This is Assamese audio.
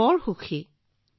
বৰ সুখী ছাৰ